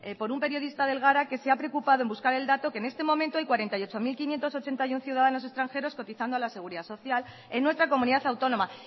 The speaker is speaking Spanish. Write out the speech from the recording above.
por un periodista del gara que se ha preocupado en buscar el dato que en este momento hay cuarenta y ocho mil quinientos ochenta y uno ciudadanos extranjeros cotizando a la seguridad social en nuestra comunidad autónoma